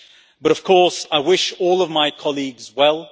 But of course, I wish all of my colleagues well.